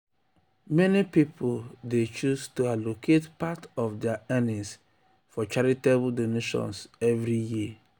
meni um pipul dey choose to allocate part of dia earnings for charitable donations every year.